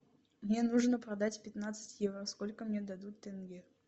мне нужно продать пятнадцать евро сколько мне дадут тенге